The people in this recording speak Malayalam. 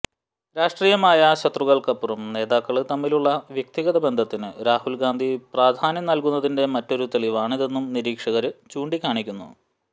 രാഷ്ട്രീയമായ ശത്രുതകള്ക്കപ്പുറം നേതാക്കള് തമ്മിലുള്ള വ്യക്തിഗത ബന്ധത്തിന് രാഹുല് ഗാന്ധി പ്രാധാന്യം നല്കുന്നതിന്റെ മറ്റൊരു തെളിവാണിതെന്നും നിരീക്ഷകര് ചൂണ്ടിക്കാണിക്കുന്നു